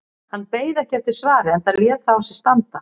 Hann beið ekki eftir svari enda lét það á sér standa.